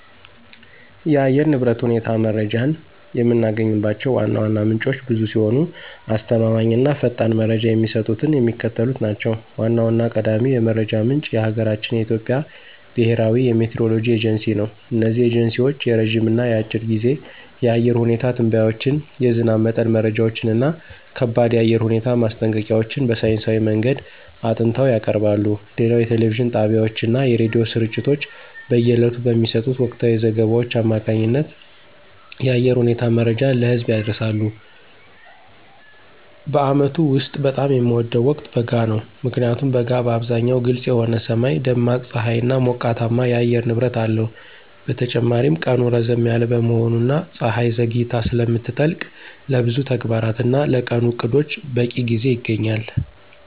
የአየር ንብረት ሁኔታ መረጃን የምናገኝባቸው ዋና ዋና ምንጮች ብዙ ሲሆኑ፣ አስተማማኝ እና ፈጣን መረጃ የሚሰጡት የሚከተሉት ናቸው ዋናውና ቀዳሚው የመረጃ ምንጭ የሀገራችን የኢትዮጵያ ብሔራዊ የሚቲዎሮሎጂ ኤጀንሲ ነው። እነዚህ ኤጀንሲዎች የረጅም እና የአጭር ጊዜ የአየር ሁኔታ ትንበያዎችን፣ የዝናብ መጠን መረጃዎችን እና ከባድ የአየር ሁኔታ ማስጠንቀቂያዎችን በሳይንሳዊ መንገድ አጥንተው ያቀርባሉ። ሌላው የቴሌቪዥን ጣቢያዎችና የሬዲዮ ስርጭቶች በየዕለቱ በሚሰጡት ወቅታዊ ዘገባዎች አማካኝነት የአየር ሁኔታ መረጃን ለህዝብ ያደርሳሉ። በዓመቱ ውስጥ በጣም የምወደው ወቅት በጋ ነው። ምክንያቱም በጋ በአብዛኛው ግልጽ የሆነ ሰማይ፣ ደማቅ ፀሐይና ሞቃታማ የአየር ንብረት አለው። በተጨማሪም ቀኑ ረዘም ያለ በመሆኑና ፀሐይ ዘግይታ ስለምትጠልቅ፣ ለብዙ ተግባራትና ለቀኑ ዕቅዶች በቂ ጊዜ ይገኛል።